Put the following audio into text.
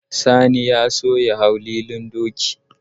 Sani ya so ya hau lilin doki